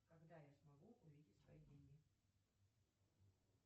когда я смогу увидеть свои деньги